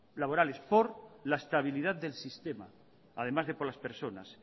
laborales por la estabilidad de sistema además de por las personas